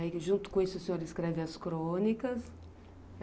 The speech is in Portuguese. E aí, junto com isso, o senhor escreve as crônicas?